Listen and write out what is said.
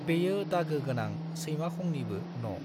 बेयो दागो गोनां सैमाखंनिबो न'।